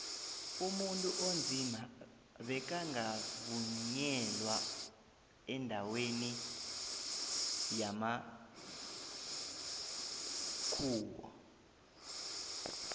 umuntu onzima beka ngakavunyelwa endaweni yambkhuwo